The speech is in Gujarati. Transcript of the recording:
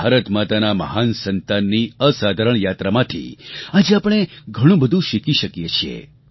ભારત માતાનાં આ મહાન સંતાનની અસાધારણ યાત્રામાંથી આજે આપણે ઘણું બધું શીખી શકીએ છીએ